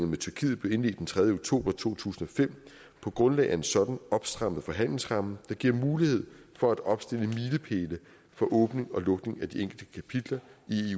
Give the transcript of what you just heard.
med tyrkiet blev indledt den tredje oktober to tusind og fem på grundlag af en sådan opstrammet forhandlingsramme der giver mulighed for at opstille milepæle for åbning og lukning af de enkelte kapitler i